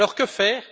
Alors, que faire?